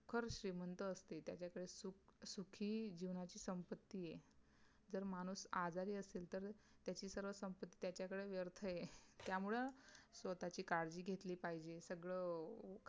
खरच श्रीमंत असते. त्याच्या तर सुखी जीवनाची संप्पती आहे. जर माणूस आजारी असेल तर त्याची सर्व संप्पती त्याच्याकडे व्यर्थ आहे. त्यामुळे स्वतःची काळजी घेतली पाहिजे. सगळं